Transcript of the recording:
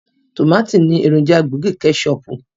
Tòmátì ni èròjà gbòógì kẹ́ṣọọ̀pù.